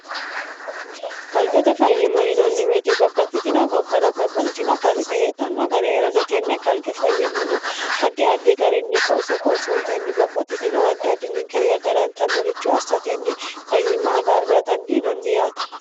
kalqete fayyima yinanni woyiite babbaxxitino gobbara babbaxxitino kalqe heedhanno gari heeranno tenne kalqe fayyimano addi addi garinni qoosso qoossoontenni babbaxxitino addi addi ninkewii agarantannorichu assatenni fayyimma agarra dandiinanni yaate